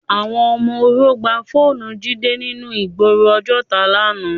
Awòn òmò óró gbá fónù Jide ninú igbóró Ojota làná